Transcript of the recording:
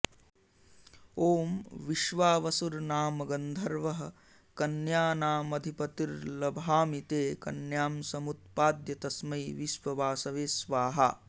ॐ विश्वावसुर्नाम गन्धर्वः कन्यानामधिपतिर्लभामि ते कन्यां समुत्पाद्य तस्मै विश्ववासवे स्वाहा